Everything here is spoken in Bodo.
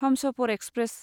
हमसफर एक्सप्रेस